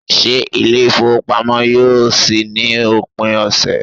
Se ile ifowopamo yoo si ni opin ose